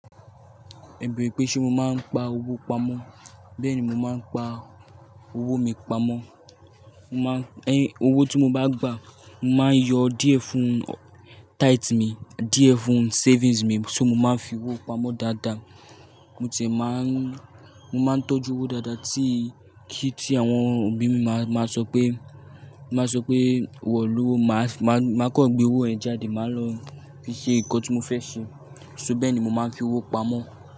Ẹ̀ bèèrè pé ṣe mo máa ń pa owó pamọ́, bẹ́ẹ̀ni mo máa ń pa owó mi pamọ́. Mo máa ń, ẹ́, owó tí mo bá gbà, mo máa ń yọ díẹ̀ fún tithe mi, díẹ̀ fún savings mi, ṣó mo máa ń fi owó pamọ́ dáadáa. Mo tiẹ̀ máa ń, mo máa ń tọ́jú owó dáadáa tí kí tí àwọn òbí mi máa, máa sọ pé, máa sọ pé wọ̀n lówó, màá, màá kọ́ gbé owó ẹ́ jáde, màá lọ fi ṣe nǹkan tí mo fẹ́ ṣe. Ṣó bẹ́ẹ̀ ni mo máa ń fi owó pamọ́.